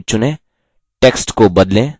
text को बदलें